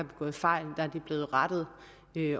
begået fejl er blevet rettet